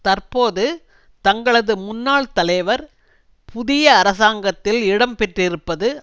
தற்போது தங்களது முன்னாள் தலைவர் புதிய அரசாங்கத்தில் இடம் பெற்றிருப்பது